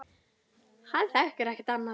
Hann þekkir ekkert annað.